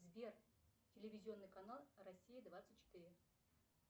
сбер телевизионный канал россия двадцать четыре